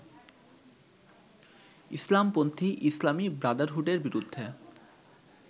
ইসলামপন্থী ইসলামী ব্রাদারহুডের বিরুদ্ধে